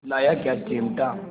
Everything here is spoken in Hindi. लाया क्या चिमटा